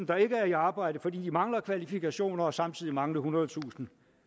der ikke er i arbejde fordi de mangler kvalifikationer og samtidig mangle ethundredetusind